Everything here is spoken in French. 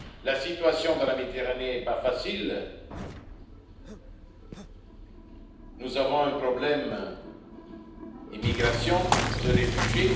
La situation dans la Méditerranée est difficile, nous avons un problème d'immigration, de réfugiés.